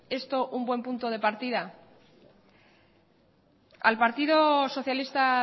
esto un buen punto de partida al partido socialista